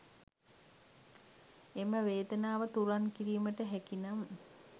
එම වේදනාව තුරන් කිරීමට හැකි නම්